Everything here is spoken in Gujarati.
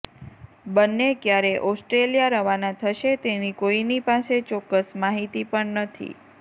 બંને ક્યારે ઓસ્ટ્રેલિયા રવાના થશે તેની કોઇની પાસે ચોક્કસ માહિતી પણ નથી